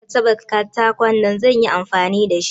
Karka taba katakon nan bana zan yi amfani da su.